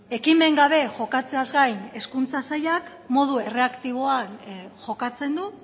ekimen gabe jokatzeaz gain hezkuntza sailak modu erreaktiboan jokatzen du